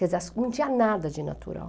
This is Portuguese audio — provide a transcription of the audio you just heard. Quer dizer, não tinha nada de natural.